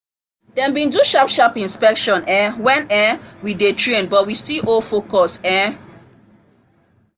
dem been do sharp sharp inspection um when um we dey train but we still hold focus um